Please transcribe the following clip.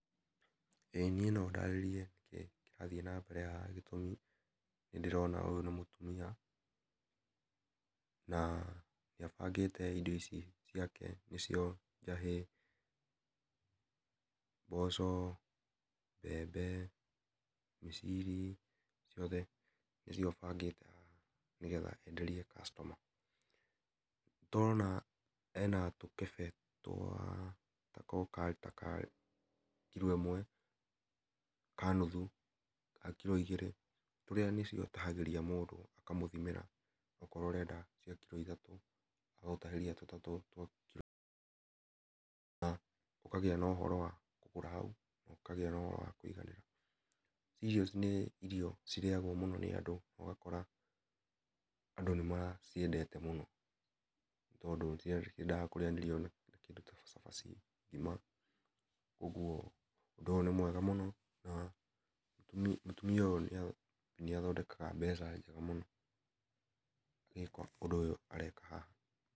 ĩĩ niĩ nondarĩrie kĩrĩa kĩrathiĩ nambere haha, gĩtũmi, nĩndĩrona ũyũ nĩ mũtumia, na nĩabangĩte indo ici ciake nĩcio, njahĩ, mboco, mbembe, mĩciri, ciothe, nĩcio abangĩte haha, nĩgetha enderie customer. Tũrona, ena tũkebe twa, tako ta ka, kiro ĩmwe, ka nuthu, ga kiro igĩrĩ, tũrĩa nĩcio atahagĩtia mũndũ, akamũthimĩra, akorwo ũrenda cia kiro ithatũ, agagũtahĩkria tũtatũ twa kiro ĩmwe na ũkagĩa na ũhoro wa kũgũra hau, nokagĩa na ũhoro wa kũiganĩra, cereals nĩ irio cirĩagwo mũno nĩ andũ, ũgakora, andũ nĩ maciendete mũno, tondũ ciendaga kũrĩanĩrio na kĩndũ ta cabaci, ngima, ũguo, ũndũ ũyũ nĩ mwega mũno, na, mũtumia ũyũ nĩathondekaga mbeca njega mũno agĩka ũndũ ũyũ areka haha.